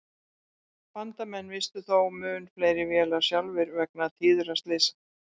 Bandamenn misstu þó mun fleiri vélar sjálfir vegna tíðra slysa.